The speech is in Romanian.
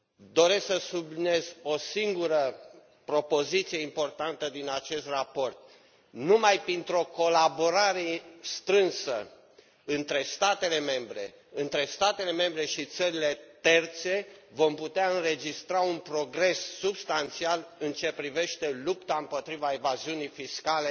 Doresc să subliniez o singură propoziție importantă din acest raport numai printr o colaborare strânsă între statele membre, între statele membre și țările terțe vom putea înregistra un progres substanțial în ceea ce privește lupta împotriva evaziunii fiscale